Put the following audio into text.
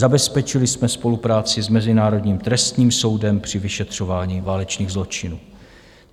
Zabezpečili jsme spolupráci s Mezinárodním trestním soudem při vyšetřování válečných zločinů.